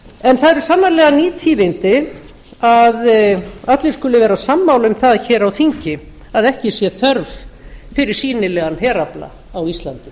en það eru sannarlega ný tíðindi að allir skuli vera sammála um það hér á þingi að ekki sé þörf fyrir sýnilegan herafla á íslandi